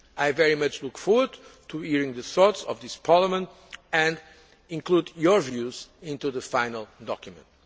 I very much look forward to hearing the thoughts of Parliament and including your views in the final document.